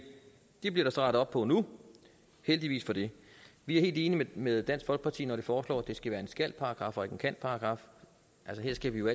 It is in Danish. det bliver der så rettet op på nu og heldigvis for det vi er helt enige med dansk folkeparti når de foreslår at det skal være en skal paragraf og ikke en kan paragraf her skal vi jo